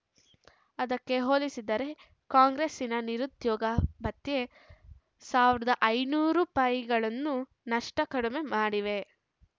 ಅದಕ್ಕೆ ಹೋಲಿಸಿದರೆ ಕಾಂಗ್ರೆಸ್ಸಿನ ನಿರುದ್ಯೋಗ ಭತ್ಯೆ ಸಾವಿರದ ಐನೂರು ರೂಪಾಯಿ ನಷ್ಟುಕಡಿಮೆ ಇದೆ